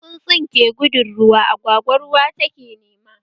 Wani tsuntsu ke gudun ruwa, agwagwa ruwa take nema